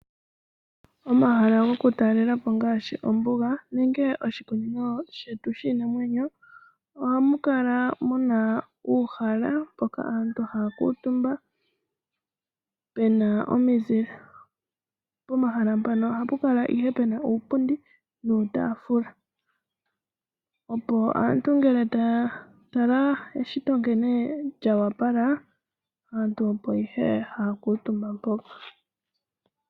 Omahala gokutalelapo ngaashi ombuga nenge oshikunino shetu shiinamwenyo ohamu kala muna uuhaala mpoka aantu haya kuutumba pu na omizile. Pomahala mpano ohapu kala ihe puna iipundi niitaafula, opo aantu ngele taya tala eshito nkene lya opala, aantu opo ihe haya kuutumba mpo.